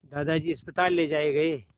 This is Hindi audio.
दादाजी अस्पताल ले जाए गए